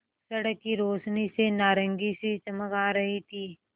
सड़क की रोशनी से नारंगी सी चमक आ रही थी